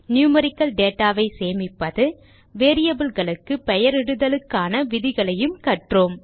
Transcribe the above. numerical data சேமிப்பது variable க்கு பெயரிடுதலுக்கான விதிகளையும் கற்றோம்